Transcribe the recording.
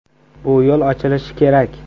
Bu yo‘l ochilishi kerak.